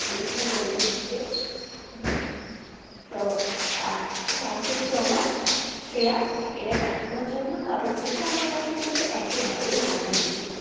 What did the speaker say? উষ্ণ জল দিয়ে ধুয়ে হম তো আহ thank you so much Shreya এটা জানানোর জন্য কারণ এইটা আমার কাছে কিন্তু একেবারেই অজানা ছিল।